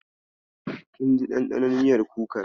Kin ji daɗin ɗanɗanon miyar kukar?